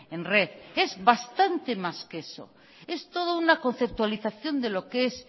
en red es bastante más que eso es toda una conceptualización de lo que es